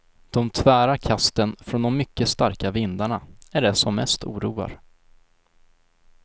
De tvära kasten från de mycket starka vindarna är det som mest oroar.